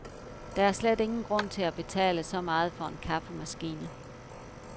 Der er slet ingen grund til at betale så meget for en kaffemaskine.